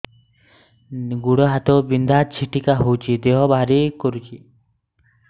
ଗୁଡ଼ ହାତ ବିନ୍ଧା ଛିଟିକା ହଉଚି ଦେହ ଭାରି କରୁଚି